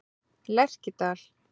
Lerkidal